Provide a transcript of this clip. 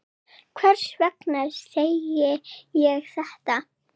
Hvers vegna segi ég þetta?